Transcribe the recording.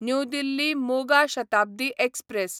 new Delhi मोगा Shatabdi express